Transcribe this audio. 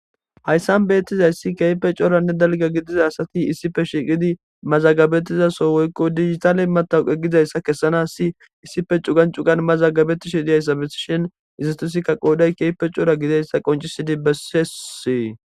hayssan beettizayssi keype cooranne dalga gidiza asati issife shiiqidi mazagabettizaso woykko digitaaley matawuqe gidayssa kessana si issife cugan cugan mazagabettishi diyayssa besishin izistosikka qooday keype coora gidayssa qoncisidi bessesie